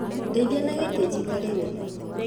Ndeithia na gitĩ njikarĩre